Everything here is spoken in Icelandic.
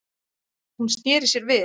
Hún sneri sér við.